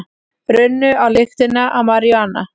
Runnu á lyktina af maríjúana